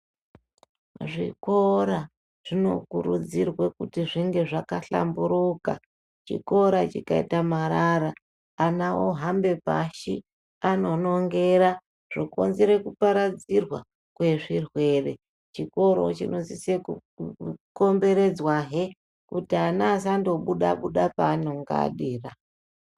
Zvikora zvinokurudzirwe kuti zvinge zvakahlamburuka. Chikora chikaita marara ana ohambe pashi anonongera zvokonzera kuparadzirwa kwezvirwere. Chikora chinosise kukomberedzwahe kuti ana asangobuda buda paanenge adira.